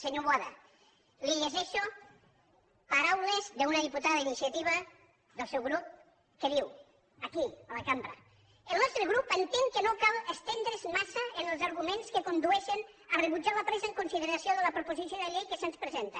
senyor boada li llegeixo paraules d’una diputada d’iniciativa del seu grup que diu aquí a la cambra el nostre grup entén que no cal estendre’s massa en els arguments que condueixen a rebutjar la presa en consideració de la proposició de llei que se’ns presenta